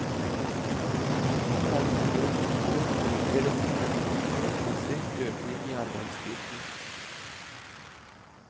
Særlig mindre kontorer ser dette som en uforholdsmessig økning i arbeidsbyrden.